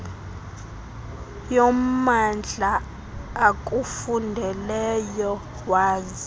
yommandla akufundeleyo waze